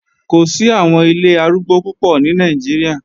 Kò sí àwọn ilé arúgbó púpọ̀ ní Nàìjíríà